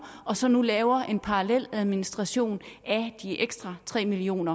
og så nu laver en parallel administration af de ekstra tre million